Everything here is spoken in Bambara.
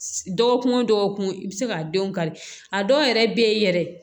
Dɔgɔkun o dɔgɔkun i bɛ se ka denw kari a dɔw yɛrɛ bɛ yen yɛrɛ